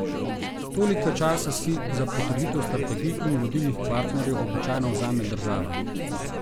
Toliko časa si za potrditev strategij in vodilnih partnerjev običajno vzame država.